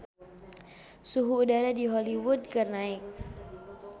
Suhu udara di Hollywood keur naek